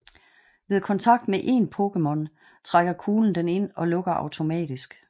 Ved kontakt med en Pokémon trækker kuglen den ind og lukker automatisk